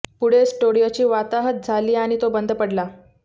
पुढे स्टुडिओची वाताहत झाली आणि तो बंद पडला